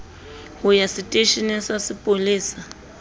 ho ya seteisheneng sa sepolesa